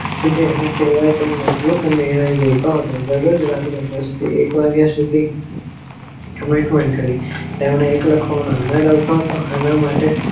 આને કહેવાય તેમ મજબૂત નિયંત્રણો હતા દરોજ દસ થી એક વાગીયા સુધી commentment કરી તેમને લખવાનો આનંદ આવતો હતો.